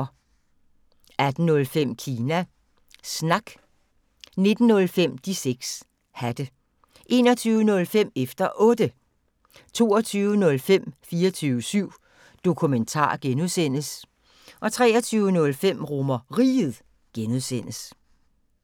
18:05: Kina Snak 19:05: De 6 Hatte 21:05: Efter Otte 22:05: 24syv Dokumentar (G) 23:05: RomerRiget (G)